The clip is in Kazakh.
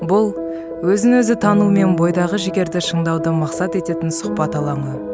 бұл өзін өзі тану мен бойдағы жігерді шыңдаудың мақсат ететін сұхбат алаңы